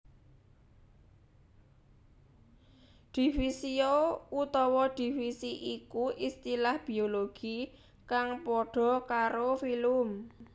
Divisio utawa divisi iku istilah Biologi kang padha karo filum